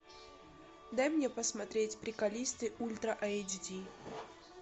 дай мне посмотреть приколисты ультра эйч ди